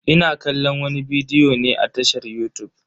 Ina kallon wani bidiyo ne a tashar yutub.